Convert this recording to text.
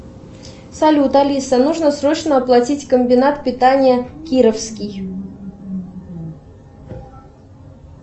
салют алиса нужно срочно оплатить комбинат питания кировский